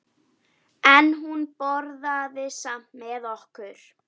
En hún borðaði samt með okkur.